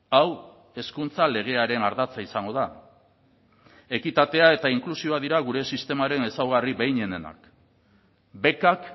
hau hezkuntza legearen ardatza izango da ekitatea eta inklusioa dira gure sistemaren ezaugarri behinenenak bekak